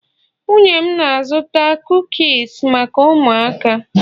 nwunye m na-azụta kukis maka ụmụaka